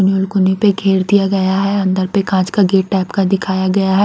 उ कुनी पे घेर दिया गया है अंदर पे काँच का गेट टाइप का दिखाया गया है।